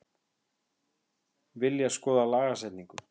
Vilja skoða lagasetningu